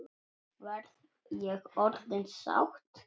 Verð ég orðin sátt?